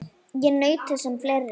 Ég naut þess sem fleiri.